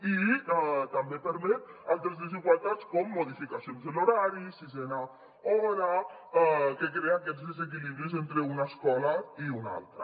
i també permet altres desigualtats com modificacions de l’horari la sisena hora que crea aquests desequilibris entre una escola i una altra